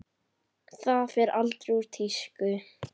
Það fer aldrei úr tísku.